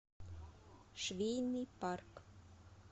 швейный парк